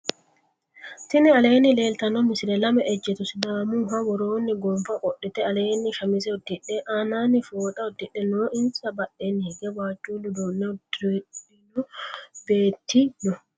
tinni alenni leltano misile. laame ejeto sidamuha woroni gonfa qodhite alleni shamise uddidhe. annani fooxa udidhe noo. insa badhenni hige wajule uduune udirino betti noo.